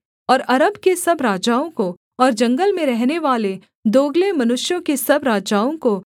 और अरब के सब राजाओं को और जंगल में रहनेवाले दोगले मनुष्यों के सब राजाओं को